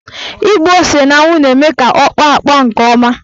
Ịgba ose n'anwụ na-eme ka ọ kpọọ akpọ nke ọma.